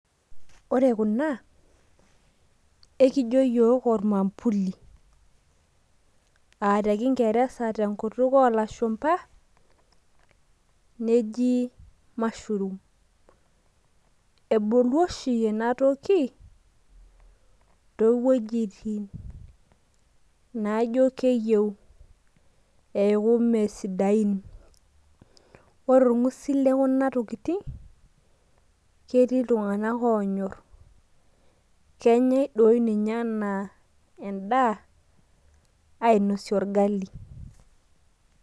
ore kuna ekijo iyiok ormambuli nejo ilashumba mashroom kebulu oshi niche too wejitin naaijo mesidain ,ore orng'usil lekuna tokitin naa ketii iltung'anak onyor naa kenyae dii nye anosie orgali.